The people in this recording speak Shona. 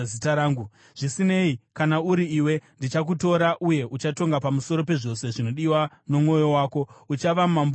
Zvisinei, kana uri iwe, ndichakutora, uye uchatonga pamusoro pezvose zvinodiwa nomwoyo wako; uchava mambo weIsraeri.